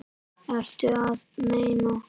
Ertu að meina.